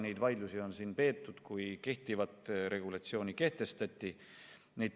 Neid vaidlusi sai siin peetud, kui kehtivat regulatsiooni kehtestati.